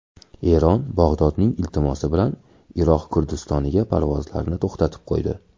Eron Bag‘dodning iltimosi bilan Iroq Kurdistoniga parvozlarni to‘xtatib qo‘ydi.